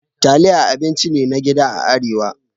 Taliya abinci ne na gida a Arewa.